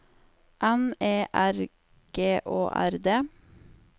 N E R G Å R D